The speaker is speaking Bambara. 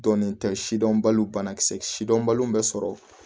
Dɔnnen tɛ sidɔn baliw banakisɛ sidɔnbaliw bɛ sɔrɔ